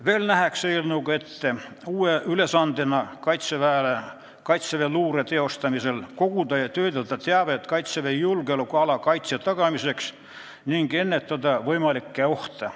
Veel nähakse eelnõuga uue ülesandena ette, et kaitseväeluure teostamisel tuleb koguda ja töödelda teavet Kaitseväe julgeolekuala kaitse tagamiseks ning ennetada võimalikke ohte.